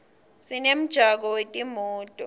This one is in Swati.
sinemjako wetimoto